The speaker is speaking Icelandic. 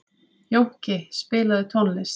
Jónki, spilaðu tónlist.